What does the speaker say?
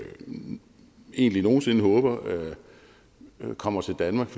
ikke nogen sinde håber kommer til danmark